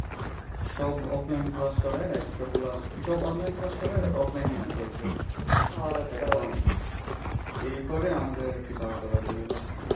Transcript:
সব offline class সরায়া সবগুলা সব online class সরায়া offline এ এনে ফেলসে এখন এই করে আর কি আমাদের বারোটা বাজিয়ে দিল।